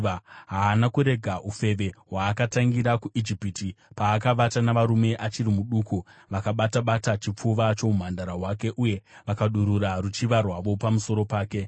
Haana kurega ufeve hwaakatangira kuIjipiti, paakavata navarume achiri muduku, vakabata-bata chipfuva choumhandara hwake uye vakadurura ruchiva rwavo pamusoro pake.